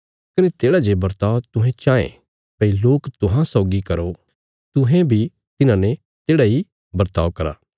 कने तेढ़ा जे बर्ताव तुहें चाँये भई लोक तुहां सौगी करो तुहें बी तिन्हांने तेढ़ा इ वर्ताव करा